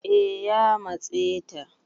eh ya matse ta